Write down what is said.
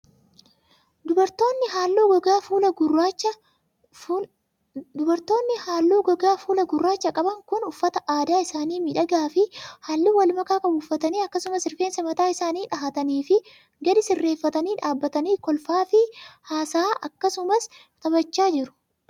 Dubartoonni haalluu gogaa fuulaa gurraacha qaban kun, uffata aadaa isaanii miidhagaa fi haalluu walmakaa qabu uffatanii akkasumas rifeensa mataa isaanii dhahataniifi gadi sirreeffatanii dhaabbatanii kolfaa fi haasa'aa akkasumas taphachaa jiru.